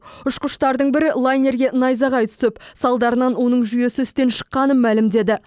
ұшқыштардың бірі лайнерге найзағай түсіп соның салдарынан жүйесі істен шыққанын мәлімдеді